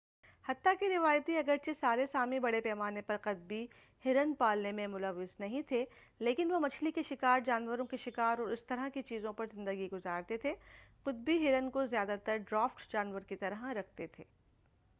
حتّیٰ کہ روایتی اگر چہ سارے سامی بڑے پیمانے پر قطبی ہرن پالنے میں ملوث نہیں تھے لیکن وہ مچھلی کے شکار جانوروں کے شکار اور اسی طرح کی چیزوں پر زندگی گزارتے تھے قطبی ہرن کو زیادہ تر ڈرافٹ جانور کی طرح رکھتے تھے